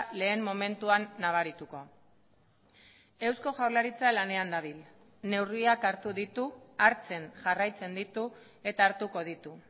lehen momentuan nabarituko eusko jaurlaritza lanean dabil neurriak hartu ditu hartzen jarraitzen ditu eta hartuko ditu